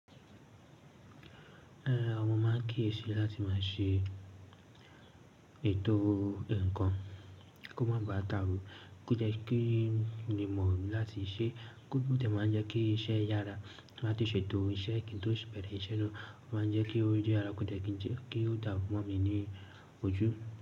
Ẹn, mọ máa ń kíyèsi láti máa ṣe ètò ǹkan kí ó má bà dàrú, kó jẹ́ kí n lè mọ̀ láti ṣe, ó dẹ máa ń jẹ́ kí iṣẹ́ yára, láti ṣètò iṣẹ́ kí n tó bẹrẹ iṣẹ́ náà, ó máa ń jẹ́ kí ó yára, kó dẹ́ kí ó dàrú mọ́ mi ní ojú.